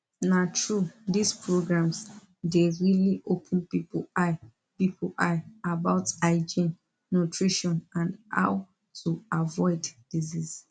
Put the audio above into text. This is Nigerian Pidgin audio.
na true these programs dey really open people eye people eye about hygiene nutrition and how to avoid disease